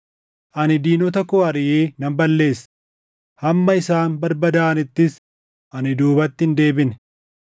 “Ani diinota koo ariʼee nan balleesse; hamma isaan barbadaaʼanittis ani duubatti hin deebine.